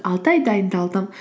алты ай дайындалдым